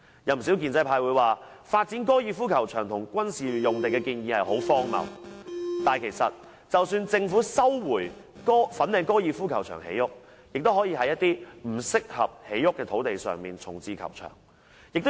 有不少建制派說，發展高爾夫球場和軍事用地的建議很荒謬，但其實即使政府收回粉嶺高爾夫球場建設房屋，也可以在一些不適合建屋的土地上重置球場。